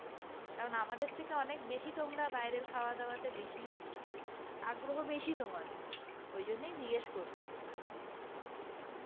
কারণ আমাদের থেকে অনেক বেশি তোমরা বাইরের খাওয়া-দাওয়া তে বেশি আগ্রহ বেশি তোমাদের ওই জন্যই জিজ্ঞেস করছি?